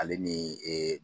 Ale ni ee